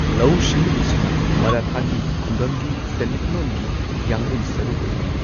ꯂꯧꯎ ꯁꯤꯡꯎꯕꯁꯤꯅ ꯃꯔꯥꯊꯥꯒꯤ ꯈꯨꯡꯒꯪꯒꯤ ꯁꯦꯟꯃꯤꯠꯂꯣꯟꯒꯤ ꯌꯥꯡꯂꯦꯟ ꯁꯔꯨ ꯑꯣꯏꯔꯝꯃꯤ꯫